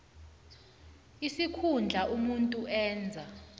isikhundla umuntu enza